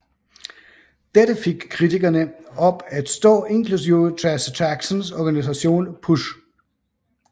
Dette fik kritikerne op at stå inklusiv Jesse Jacksons organisation PUSH